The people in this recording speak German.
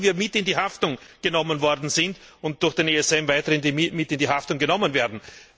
Alle, die wir mit in die Haftung genommen worden sind und durch den ESM weiter mit in die Haftung genommen werden.